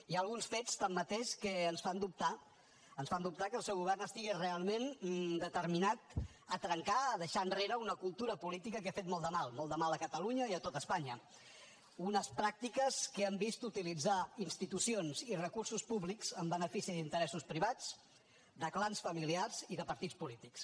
hi ha alguns fets tanmateix que ens fan dubtar que el seu govern estigui realment determinat a trencar a deixar enrere una cultura política que ha fet molt de mal molt de mal a catalunya i a tot espanya unes pràctiques que han vist utilitzar institucions i recursos públics en benefici d’interessos privats de clans familiars i de partits polítics